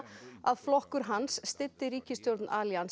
að flokkur hans styddi ríkisstjórn